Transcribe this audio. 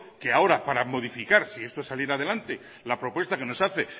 que ahora para modificar si esto saliera adelante la propuesta que nos hace